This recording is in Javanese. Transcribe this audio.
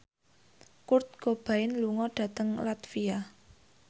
Kurt Cobain lunga dhateng latvia